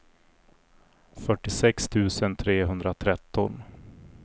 fyrtiosex tusen trehundratretton